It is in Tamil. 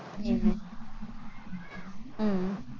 ஹம் உம்